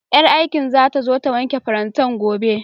Ƴar aikin zata zo ta wanke farantan gobe